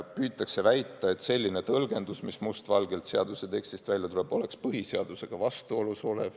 Püütakse väita, et selline tõlgendus, mis must valgel seaduse tekstist välja tuleb, oleks põhiseadusega vastuolus.